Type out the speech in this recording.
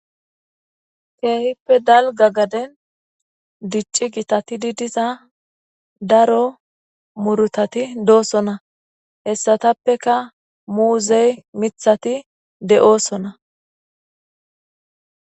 Kehippe daligga gadenni dicciza gitati diza daro murutati do'osona .hessatappekka muzeyi miththayi de'osona.